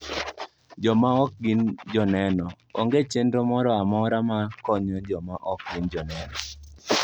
Jo ma ok gin Joneno: Onge chenro moro amora mar konyo joma ok gin Joneno.